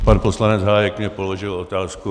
Pan poslanec Hájek mi položil otázku.